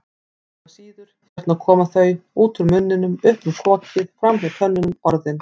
Engu að síður, hérna koma þau, út úr munninum, upp um kokið, framhjá tönnunum, Orðin.